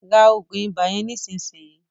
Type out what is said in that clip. rá oògùn ibà yén nísìsiyìí!